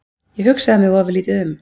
Ég hugsaði mig ofurlítið um.